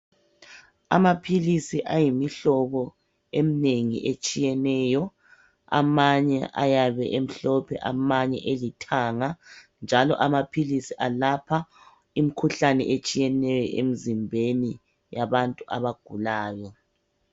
Amaphilisi ayimihlobo emnengi etshiyeneyo amanye ayabe emhlophe amanye elithanga njalo amaphilisi alapha imkhuhlane etshiyeneyo emzimbeni yabantu abagulayo.